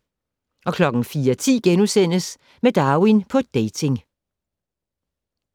04:10: Med Darwin på dating *